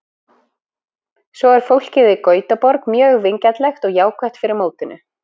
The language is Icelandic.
Svo er fólkið í Gautaborg mjög vingjarnlegt og jákvætt fyrir mótinu.